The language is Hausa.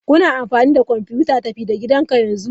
Kuna amfani da kwamfutar tafi-da-gidanka yanzu?